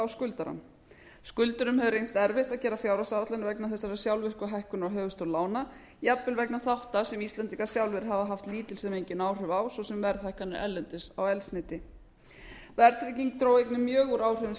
skuldurum hefur reynst erfitt að gera fjárhagsáætlun vegna þessara sjálfvirku hækkunar á höfuðstól lána jafnvel vegna þátta sem íslendingar sjálfir hafa haft lítil sem engin áhrif á svo sem verðhækkanir erlendis á eldsneyti verðtrygging dró einnig mjög úr áhrifum stýrivaxta